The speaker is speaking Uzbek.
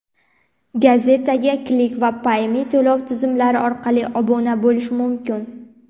Gazetaga Click va Payme to‘lov tizimlari orqali obuna bo‘lish mumkin.